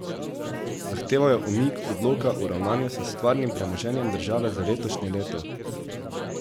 Zahtevajo umik odloka o ravnanju s stvarnim premoženjem države za letošnje leto.